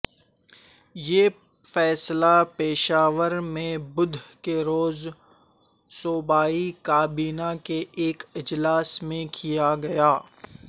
یہ فیصلہ پشاور میں بدھ کے روز صوبائی کابینہ کے ایک اجلاس میں کیا گیا